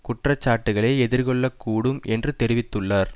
குற்ற சாட்டுக்களை எதிர்கொள்ள கூடும் என்று தெரிவித்துள்ளார்